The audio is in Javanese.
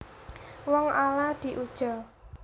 Wong ala diuja